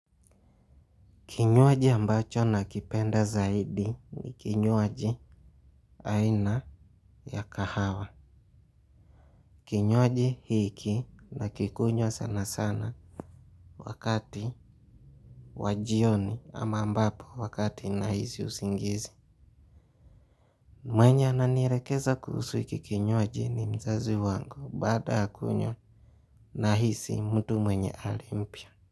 Kinywaji ambacho nakipenda zaidi ni kinywaji aina ya kahawa. Kinywaji hiki nakikunywa sana sana wakati wajioni ama ambapo wakati nahisi usingizi. Mwenye ananielekeza kuhusu hiki kinywaji ni mzazi wangu. Baada ya kunywa nahisi mtu mwenye hali mpya.